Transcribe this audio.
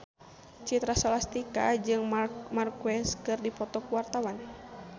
Citra Scholastika jeung Marc Marquez keur dipoto ku wartawan